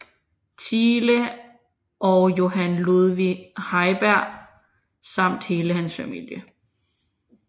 Thiele og Johan Ludvig Heiberg samt hele hans familie